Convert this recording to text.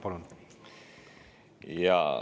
Palun!